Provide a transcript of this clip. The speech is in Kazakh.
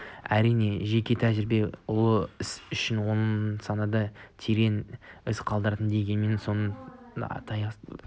әрине жеке тәжірибе ұлы іс ол санада терең із қалдырады дегенмен де оның да аясы тар